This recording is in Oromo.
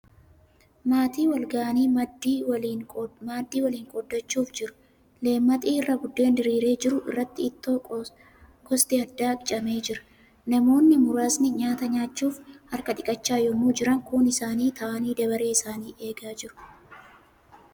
Maatii wal ga'anii maaddii waliin qoodachuuf jiru. Leemmaxii irra buddeen diriiree jiru irratti ittoo gosti adda addaa qicamee jira. Namoonni muraasni nyaata nyaachuuf harka dhiqachaa yemmuu jiran kuun isaanii taa'anii dabaree isanii eegaa jiru.